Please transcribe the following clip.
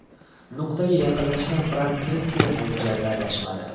Nuqtaga yaqinlashgan Frank Kessie mo‘ljalda adashmadi.